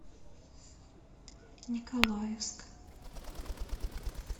николаевск